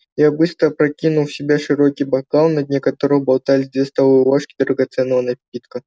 я быстро опрокинул в себя широкий бокал на дне которого болталось две столовые ложки драгоценного напитка